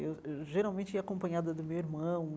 Eu eu, geralmente, ia acompanhada do meu irmão.